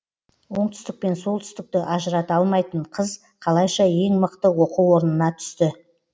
оңтүстік пен солтүстікті ажырата алмайтын қыз қалайша ең мықты оқу орнына түсті